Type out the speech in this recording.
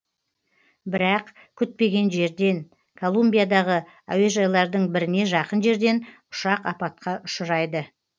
бірақ күтпеген жерден колумбиядағы әуежайлардың біріне жақын жерден ұшақ апатқа ұшырайды